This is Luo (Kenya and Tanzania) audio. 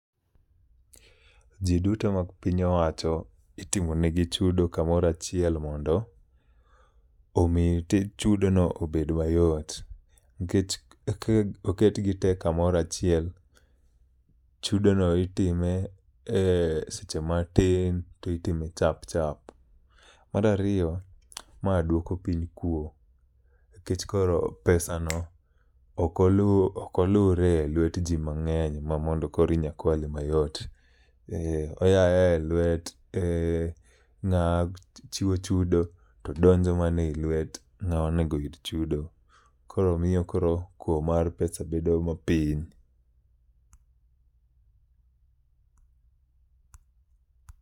Ji duto ma piny owacho itimonegi chudo kamorachiel mondo omi tij chudono obed mayot. Nikech k oketgi te kamorachiel, chudo no itime e seche matin to itime chap chap. Marariyo, ma dwoko piny kuo. Nikech koro pesa no okolure e lwet ji mang'eny ma mondo koro inya kwale mayot. Eh, oya ayae e lwet ng'a chiwo chudo to donjo mana e lwet ng'a onego yud chudo. Koro miyo koro kuo mar pesa bedo ma piny.